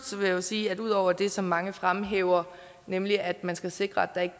vil jeg sige at det ud over det som mange fremhæver nemlig at man skal sikre at